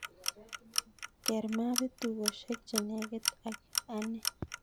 Ker mapit tugoshek chenegit ak ane